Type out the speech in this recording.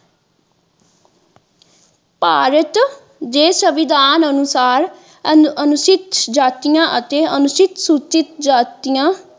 ਭਾਰਤ ਦੇ ਸੰਵਿਧਾਨ ਅਨੁਸਾਰ ਅਨੁਚਿਤ ਜਾਤੀਆਂ ਅਤੇ ਅਨੁਸੂਚਿਤ ਜਾਤੀਆਂ।